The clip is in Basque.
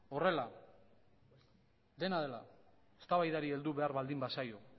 horrela dena dela eztabaidari heldu behar baldin bazaio